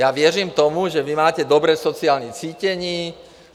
Já věřím tomu, že vy máte dobré sociální cítění.